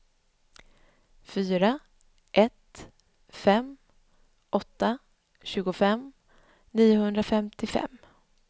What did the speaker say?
fyra ett fem åtta tjugofem niohundrafemtiofem